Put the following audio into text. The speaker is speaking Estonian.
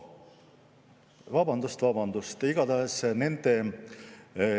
Vabandust, vabandust!